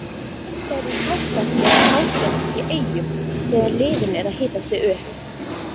Aðstæður eru flottar hér á Hásteinsvelli í Eyjum þegar liðin eru að hita sig upp.